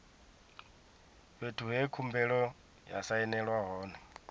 fhethu he khumbelo ya sainelwa hone